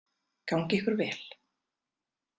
Gangi ykkur vel!